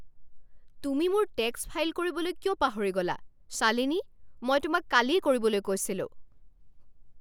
তুমি মোৰ tax file কৰিবলৈ কিয় পাহৰি গ'লা, শ্বালিনী? মই তোমাক কালিয়েই কৰিবলৈ কৈছিলোঁ।